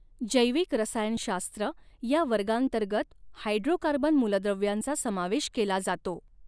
जैविक रसायनशास्त्र ह्या वर्गांतर्गत हायड्रोकार्बन मूलद्रव्यांचा समावेश केला जातो.